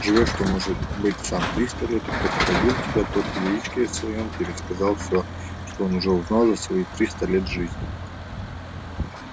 живёшь ты может быть сам триста лет и кто породил тебя тот в яичке своём пересказал всё что он уже узнал за свои триста лет жизни